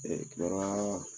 kibaroya